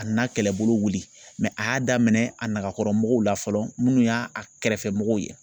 A nana kɛlɛbolo wili mɛ a y'a daminɛ a nakɔrɔmɔgɔw la fɔlɔ munnu y'a a kɛrɛfɛ mɔgɔw ye